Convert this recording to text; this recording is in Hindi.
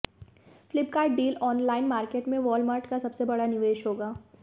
फ्लिपकार्ट डील ऑनलाइन मार्केट में वॉलमार्ट का सबसे बड़ा निवेश होगा